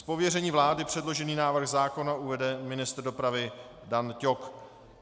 Z pověření vlády předložený návrh zákona uvede ministr dopravy Dan Ťok.